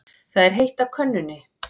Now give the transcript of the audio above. Það er heitt á könnunni.